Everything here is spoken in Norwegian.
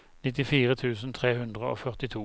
nittifire tusen tre hundre og førtito